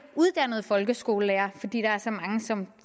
uddannede folkeskolelærere fordi der er så mange som